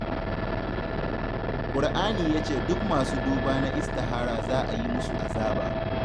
Qur'ani ya ce duk masu duba na istihara za a yi musu azaba